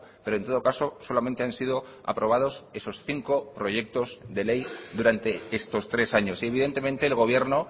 pero en todo caso solamente han sido aprobados esos cinco proyectos de ley durante estos tres años y evidentemente el gobierno